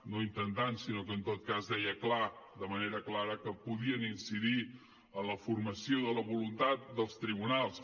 no intentant sinó que en tot cas deia clar de manera clara que podien incidir en la formació de la voluntat dels tribunals